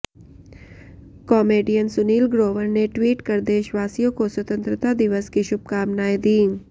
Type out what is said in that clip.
comedian Sunil Grover ने tweet कर देशवासियों को स्वतंत्रता दिवस की शुभकामनाएं दी